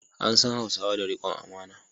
An san Hausawa da rikon amana.